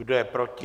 Kdo je proti?